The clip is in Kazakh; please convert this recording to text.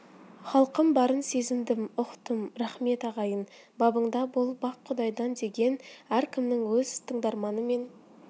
халқым барын сезіндім ұқтым рақмет ағайын бабыңда бол бақ құдайдан деген ркімнің өз тыңдарманы мен